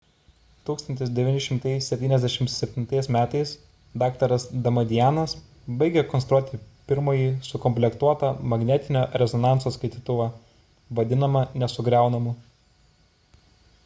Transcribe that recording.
1977 m dr damadianas baigė konstruoti pirmąjį sukomplektuotą magnetinio rezonanso skaitytuvą vadinamą nesugriaunamu